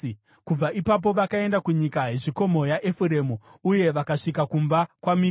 Kubva ipapo vakaenda kunyika yezvikomo yaEfuremu uye vakasvika kumba kwaMika.